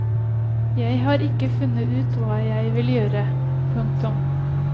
Jeg har ikke funnet ut hva jeg ellers vil gjøre. punktum